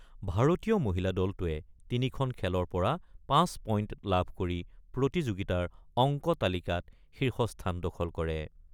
ভাৰতীয় মহিলা দলটোৱে তিনিখন খেলৰ পৰা ৫ পইণ্ট লাভ কৰি প্ৰতিযোগিতাৰ অংক তালিকাত শীৰ্ষস্থান দখল কৰে।